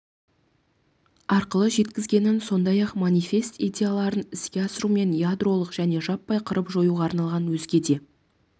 арқылы жеткізгенін сондай-ақ манифест идеяларын іске асыру мен ядролық және жаппай қырып-жоюға арналған өзге де